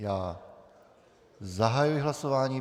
Já zahajuji hlasování.